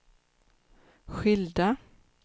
skilda